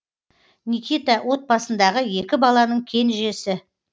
никита отбасындағы екі баланың кенжесі